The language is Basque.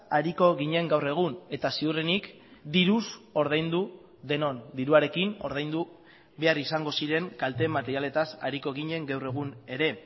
ariko ginen gaur egun eta ziurrenik diruz ordaindu denon diruarekin ordaindu behar izango ziren kalte materialetaz ariko ginen gaur egun ere